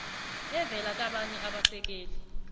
evela kabanye abasekeli